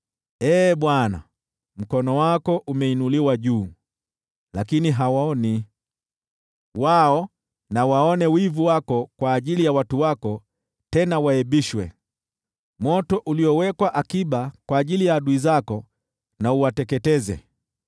Ee Bwana , mkono wako umeinuliwa juu, lakini hawauoni. Wao na waone wivu wako kwa ajili ya watu wako tena waaibishwe, moto uliowekwa akiba kwa ajili ya adui zako na uwateketeze.